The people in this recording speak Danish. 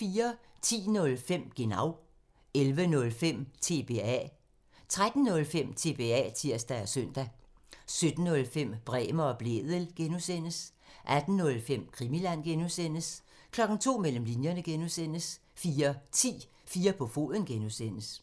10:05: Genau (tir) 11:05: TBA (tir) 13:05: TBA (tir og søn) 17:05: Bremer og Blædel (G) (tir) 18:05: Krimiland (G) (tir) 02:00: Mellem linjerne (G) 04:10: 4 på foden (G) (tir)